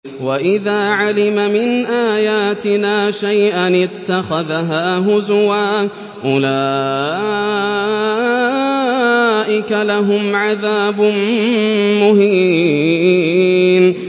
وَإِذَا عَلِمَ مِنْ آيَاتِنَا شَيْئًا اتَّخَذَهَا هُزُوًا ۚ أُولَٰئِكَ لَهُمْ عَذَابٌ مُّهِينٌ